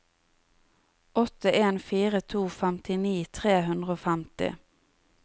åtte en fire to femtini tre hundre og femti